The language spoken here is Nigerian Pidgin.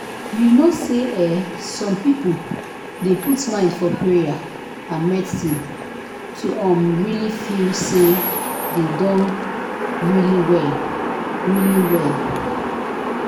you know say eeh some people dey put mind for payer and medicine to um really feel say dem don really well. really well.